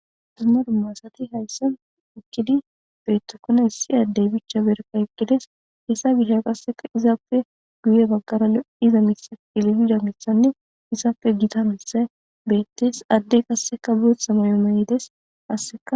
Dumma dumma asati haysani eqidi betikona issi Adey berka eqides hesa gishaw qase izappe guye bagara lo'za Mitha cililza mithannne izappe Gita mithay betes, Adey qase bootha mayo mayides,qaseka...